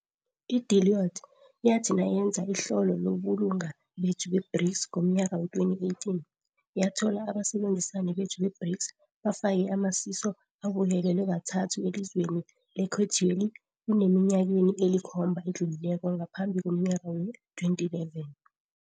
i-Deloitte yathi nayenza ihlolo lobulunga bethu be-BRICS ngomnyaka wee-2018, yathola abasebenzisani bethu be-BRICS, bafake amasiso abuyelelwe kathathu elizweni lekhethweli kuneminyakeni elikhomba edlulileko ngaphambi komnyaka wee-2011.